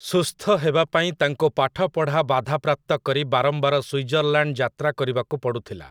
ସୁସ୍ଥ ହେବା ପାଇଁ ତାଙ୍କୁ ପାଠପଢ଼ା ବାଧାପ୍ରାପ୍ତ କରି ବାରମ୍ବାର ସ୍ୱିଜର୍‌ଲ୍ୟାଣ୍ଡ୍ ଯାତ୍ରା କରିବାକୁ ପଡ଼ୁଥିଲା ।